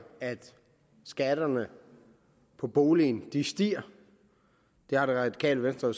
at skatterne på boligen stiger det radikale venstre